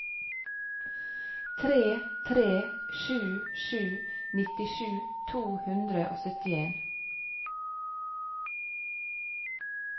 tre tre sju sju nittisju to hundre og syttien